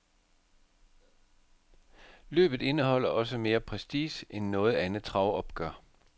Løbet indeholder også mere prestige end noget andet travopgør.